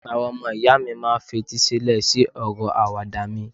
àwọn ọmọ ìyá mi ma n fetí sílẹ sí ọrọ Àwàdà mi